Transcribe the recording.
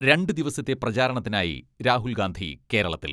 രണ്ട് ദിവസത്തെ പ്രചാരണത്തിനായി രാഹുൽ ഗാന്ധി കേരളത്തിൽ.